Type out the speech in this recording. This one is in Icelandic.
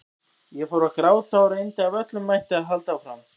Ég fór að gráta og reyndi af öllum mætti að halda áfram.